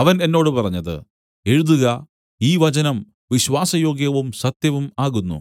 അവൻ എന്നോട് പറഞ്ഞത് എഴുതുക ഈ വചനം വിശ്വാസയോഗ്യവും സത്യവും ആകുന്നു